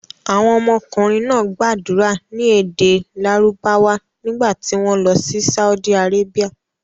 Àwọn ọmọkùnrin náà gbàdúrà ní èdè Lárúbáwá nígbà tí wọ́n lọ sí Saudi Arabia.